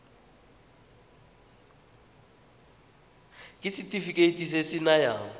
ke setefikeiti se se nayang